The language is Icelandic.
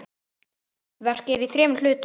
Verkið er í þremur hlutum.